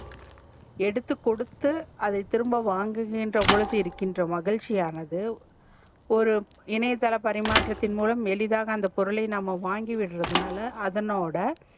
எடுத்து கொடுத்து அதை திரும்ப வாங்கு கின்ற பொழுது இருகின்ற மகிழ்ச்சி ஆனது ஒரு இணையதள மரிமாற்றத்தின் மூலம் எளிதாக அந்த பொருலை வாங்கி விட்ரதுனால அதனோட